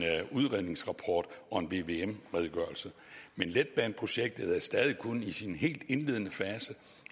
udredningsrapport og en vvm redegørelse men letbaneprojektet er stadig kun i sin helt indledende fase